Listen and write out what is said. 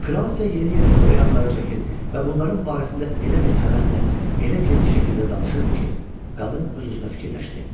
Kral isə yeni-yeni xörək adları çəkir və bunların barəsində elə bir həvəslə, elə geniş şəkildə danışırdı ki, qadın öz-özünə fikirləşdi.